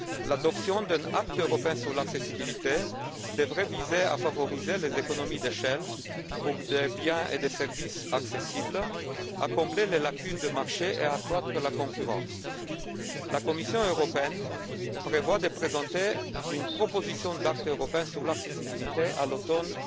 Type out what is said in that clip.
L'adoption d'un acte législatif européen sur l'accessibilité devrait viser à favoriser les économies d'échelle pour des biens et des services accessibles, à combler les lacunes du marché et à accroître la concurrence. La Commission européenne prévoit de présenter une proposition d'acte législatif européen sur l'accessibilité à l'automne